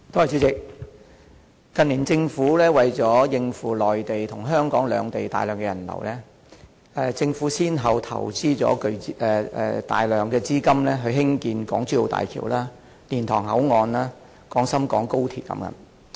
主席，近年政府為了應付內地和香港兩地的大量人流，先後投資大量資金興建港珠澳大橋、蓮塘口岸、廣深港高速鐵路等。